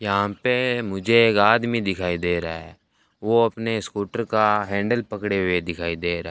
यहां पे मुझे एक आदमी दिखाई दे रहा है वो अपने स्कूटर का हैंडल पकड़े हुए दिखाई दे रहा --